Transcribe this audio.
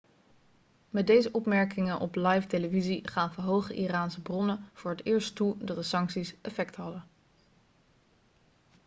met deze opmerkingen op livetelevisie gaven hoge iraanse bronnen voor het eerst toe dat de sancties effect hadden